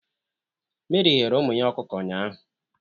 Meri ghere ụmụ ya ọkụkọ ụnyaahụ.